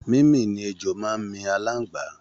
Mímì ni ejò máa ń mi aláǹgbá